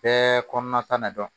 Bɛɛ kɔnɔna ta na dɔn